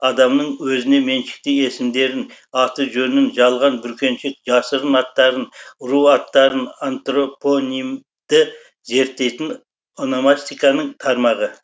адамдардың өзіне меншікті есімдерін аты жөнін жалған бүркеншік жасырын аттарын ру аттарын антропонимді зерттейтін ономастиканың тармағы